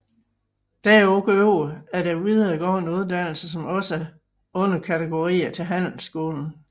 Derudover er der videregående uddannelser som også er underkategorier til handelsskolen